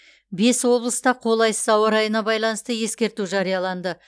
бес облыста қолайсыз ауа райына байланысты ескерту жарияланды